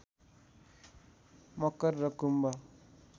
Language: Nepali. मकर र कुम्भ